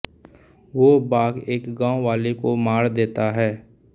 वो बाघ एक गाँव वाले को मार देता है